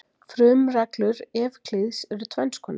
frumreglur evklíðs eru tvenns konar